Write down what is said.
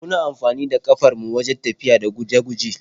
Muna amfanida kafar mu wajen tafiya da guje-guje.